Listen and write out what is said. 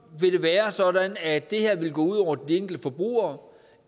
vil være sådan at det her vil gå ud over de enkelte forbrugere